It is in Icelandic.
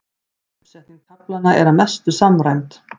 Uppsetning kaflanna er að mestu samræmd